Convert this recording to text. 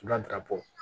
Sulatabɔ